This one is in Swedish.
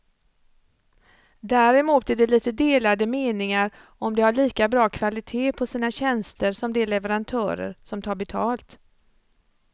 Däremot är det lite delade meningar om de har lika bra kvalitet på sina tjänster som de leverantörer som tar betalt.